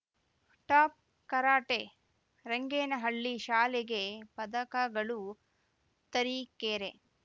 top karate Rangenahalli ಶಾಲೆಗೆ ಪದಕಗಳು ತರೀಕೆರೆ